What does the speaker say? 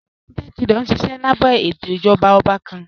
United Kingdom nṣiṣẹ̀ lábẹ̀ ètò ìjọba ọ̀bà kàn.